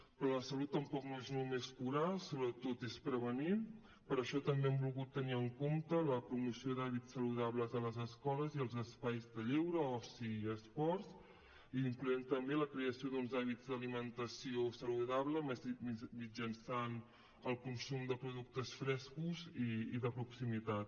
però la salut tampoc no és només curar sobretot és prevenir per això també hem volgut tenir en compte la promoció d’hàbits saludables a les escoles i als espais de lleure oci i esports incloent hi també la creació d’uns hàbits d’alimentació saludable mitjançant el consum de productes frescos i de proximitat